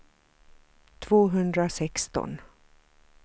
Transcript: tvåhundrasexton